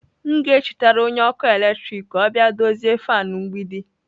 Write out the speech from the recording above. M ga-echetara onye ọkụ eletrik ka ọ bịa dozie fan mgbidi.